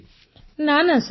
ପୁନମ ନୌଟିଆଲ ନାନା ସାର୍